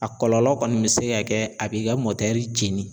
A kɔlɔlɔ kɔni bɛ se ka kɛ a b'i ka jeni